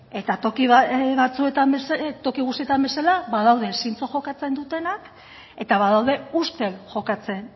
eta toki guztietan bezala badaude zintzo jokatzen dutenak eta badaude ustel jokatzen